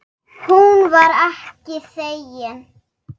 Hún var ekki þegin.